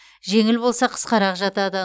жеңіл болса қысқарақ жатады